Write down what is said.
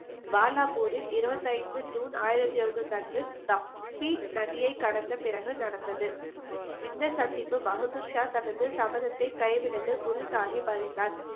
பாலாபூரில் இருபத்தி ஐந்து ஜூன் ஆயிரத்தி எழுநூத்தி அன்று தப்பி நதியை கடந்த பிறகு நடந்தது இந்த சந்திப்பு பகதூர்ஷா தனது சபதத்தை குரு சாஹிப் அறிந்தார்